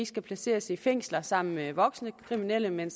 skal placeres i fængsler sammen med voksne kriminelle men